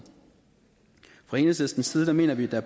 fra enhedslistens side mener vi der